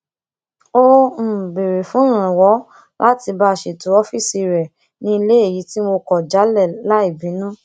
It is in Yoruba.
ó um béèrè fún ìrànwọ láti bá a ṣètọ ófíìsì rẹ ní ilé èyí tí mo kò jálè láì bínú